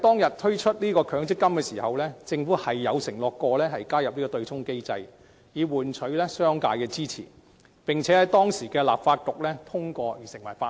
在推出強積金時，政府確曾承諾加入對沖機制以換取商界的支持，並在當時的立法局通過成為法例。